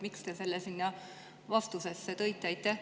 Miks te selle sinna vastusesse tõite?